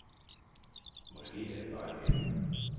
Måske er jeg bare lettet.